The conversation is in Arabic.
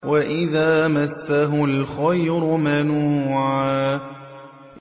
وَإِذَا مَسَّهُ الْخَيْرُ مَنُوعًا